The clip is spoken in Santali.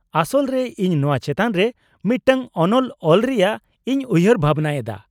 -ᱟᱥᱚᱞ ᱨᱮ ᱤᱧ ᱱᱚᱶᱟ ᱪᱮᱛᱟᱱ ᱨᱮ ᱢᱤᱫᱴᱟᱝ ᱚᱱᱚᱞ ᱚᱞ ᱨᱮᱭᱟᱜ ᱤᱧ ᱩᱭᱦᱟᱹᱨ ᱵᱷᱟᱵᱱᱟᱭᱮᱫᱟ ᱾